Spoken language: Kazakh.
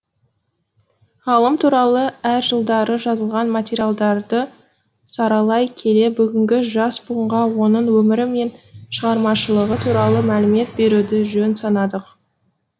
ғалым туралы әр жылдары жазылған материалдарды саралай келе бүгінгі жас буынға оның өмірі мен шығармашылығы туралы мәлімет беруді жөн санадық